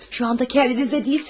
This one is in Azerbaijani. İndi özünüzdə deyilsiniz.